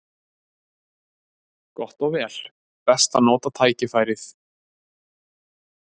Gott og vel: best að nota tækifærið.